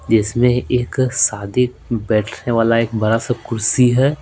जिसमें एक शादी बैठने वाला एक बड़ा सा कुर्सी है।